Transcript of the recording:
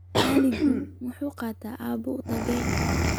Malak maxu nakaqatey aba Tangy.